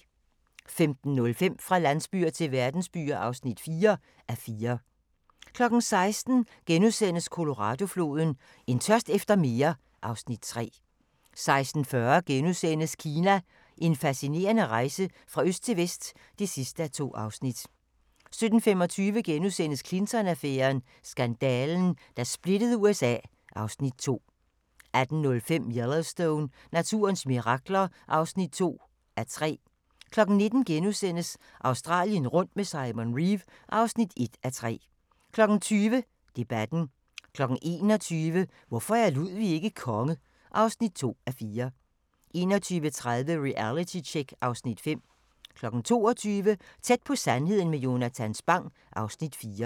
15:05: Fra landsbyer til verdensbyer (4:4) 16:00: Colorado-floden: En tørst efter mere (Afs. 3)* 16:40: Kina – En fascinerende rejse fra øst til vest (2:2)* 17:25: Clinton-affæren: Skandalen, der splittede USA (Afs. 2)* 18:05: Yellowstone – naturens mirakler (2:3) 19:00: Australien rundt med Simon Reeve (1:3)* 20:00: Debatten 21:00: Hvorfor er Ludwig ikke konge? (2:4) 21:30: Realitytjek (Afs. 5) 22:00: Tæt på sandheden med Jonatan Spang (Afs. 4)